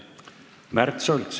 Märt Sults.